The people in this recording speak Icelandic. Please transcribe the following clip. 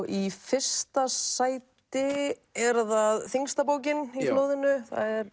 í fyrsta sæti er það þyngsta bókin í flóðinu